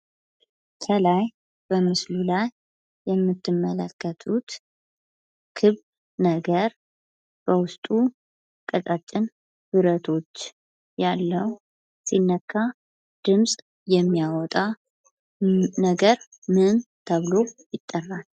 ከላይ በምስሉ ላይ የምትመለከቱት ክብ ነገር በውስጡ ቀጫጭን ብረቶች ያሉው ሲነካ ድምፅ የሚያወጣ ነገር ምን ተብሎ ይጠራል?